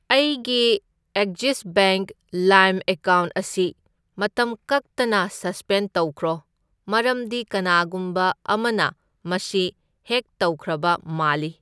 ꯑꯩꯒꯤ Axis bank ꯂꯥꯏꯝ account ꯑꯁꯤ ꯃꯇꯝ ꯀꯛꯇꯅ ꯁꯁꯄꯦꯟ ꯇꯧꯈ꯭ꯔꯣ, ꯃꯔꯝꯗꯤ ꯀꯅꯥꯒꯨꯝꯕ ꯑꯃꯅ ꯃꯁꯤ ꯍꯦꯛ ꯇꯧꯈ꯭ꯔꯕ ꯃꯥꯜꯂꯤ꯫